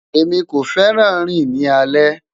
Emi ko fẹran rin ni alẹ